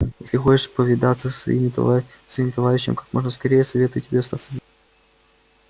если хочешь повидаться со своим товарищем как можно скорее советую тебе остаться здесь